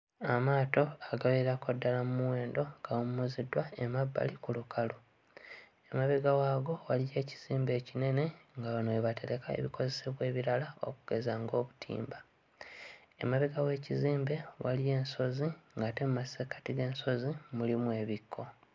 Amaato agawerako ddala mu muwendo gawummuziddwa emabbali ku lukalu. Emabega waago waliyo ekizimbe ekinene nga wano we batereka ebikozesebwa ebirala okugeza ng'obutimba. Emabega w'ekizimbe waliyo ensozi ate mu masekkati g'ensozi mulimu ebikko.